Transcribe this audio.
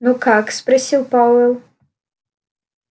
ну как спросил пауэлл